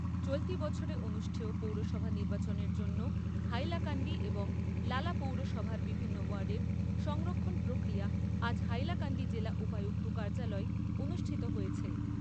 চলতি বছরে অনুষ্ঠেয় পৌরসভা নির্বাচনের জন্য হাইলাকান্দি এবং লালা পৌরসভার বিভিন্ন ওয়ার্ডের সংরক্ষণ প্রক্রিয়া আজ হাইলাকান্দি জেলা উপায়ুক্ত কার্যালয়ে অনুষ্ঠিত হয়েছে।